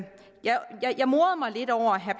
jeg morede mig lidt over herre